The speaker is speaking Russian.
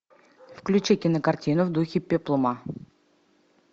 включи кинокартину в духе пеплума